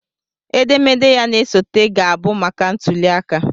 Edemede ya na-esote ga-abụ maka ntuliaka